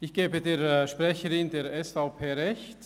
Ich gebe der Sprecherin der SVP recht: